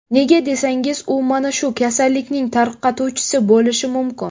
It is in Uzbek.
Nega desangiz, u mana shu kasallikning tarqatuvchisi bo‘lishi mumkin.